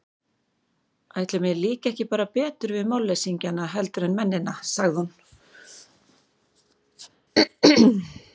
Ætli mér líki bara ekki betur við málleysingjana heldur en mennina, sagði hún.